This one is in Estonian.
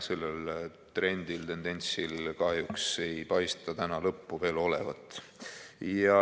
Sellel trendil, tendentsil kahjuks ei paista lõppu veel olevat.